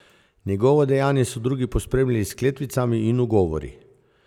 Njegovo dejanje so drugi pospremili s kletvicami in ugovori.